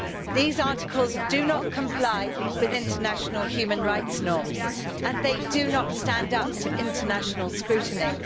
These articles do not comply with international human rights norms and they do not stand up to international scrutiny.